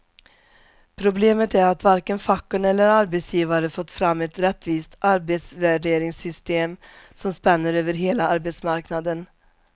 Problemet är att varken facken eller arbetsgivare fått fram ett rättvist arbetsvärderingssystem som spänner över hela arbetsmarknaden.